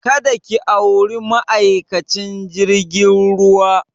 Ka da ki auri ma'aikacin jirgin ruwa!